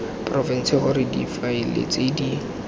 porofense gore difaele tse di